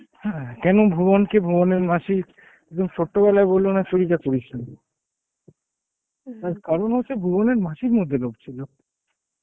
হ্যাঁ, কেন ভুবন কে ভুবনের মাসি একদম সত্য গলায় বললো না চুরিটা করিসনি , কারণ হচ্ছে ভুবনের মাসির মধ্যে লোভ ছিল